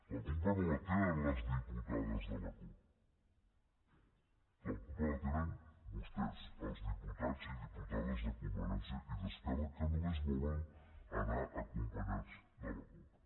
la culpa no la tenen les diputades de la cup la culpa la tenen vostès els diputats i diputades de convergència i d’esquerra que només volen anar acompanyats de la cup